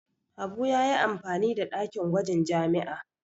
Habu ya yi amfani da dakin gwajin jami'a.